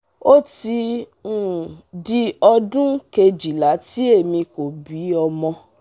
o ti um di odun kejila tí èmi kò bí ọmọ